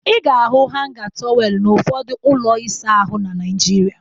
Ị ga-ahụ hanga tọweelụ n'ụfọdụ ụlọ ịsa ahụ na Naịjirịa